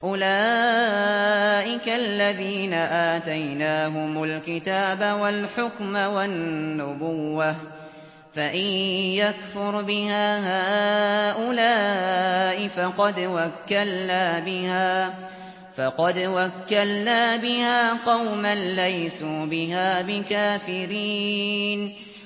أُولَٰئِكَ الَّذِينَ آتَيْنَاهُمُ الْكِتَابَ وَالْحُكْمَ وَالنُّبُوَّةَ ۚ فَإِن يَكْفُرْ بِهَا هَٰؤُلَاءِ فَقَدْ وَكَّلْنَا بِهَا قَوْمًا لَّيْسُوا بِهَا بِكَافِرِينَ